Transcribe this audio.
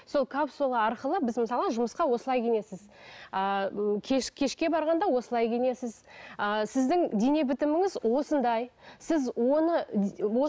сол капсула арқылы біз мысалы жұмысқа осылай киінесіз ыыы кеш кешке барғанда осылай киінесіз ыыы сіздің дене бітіміңіз осындай сіз оны